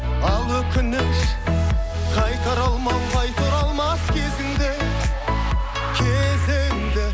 ал өкініш қайтара алмау қайта оралмас кезіңді кезіңді